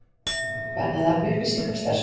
Bannað að afla upplýsinga um starfsmenn